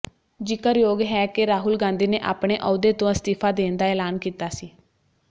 ਜ਼ਿਕਰਯੋਗ ਹੈ ਕਿ ਰਾਹੁਲ ਗਾਂਧੀ ਨੇ ਆਪਣੇ ਅਹੁਦੇ ਤੋਂ ਅਸਤੀਫਾ ਦੇਣ ਦਾ ਐਲਾਨ ਕੀਤਾ ਸੀ